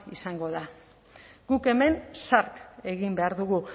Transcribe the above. izango da guk hemen zart egin behar dugu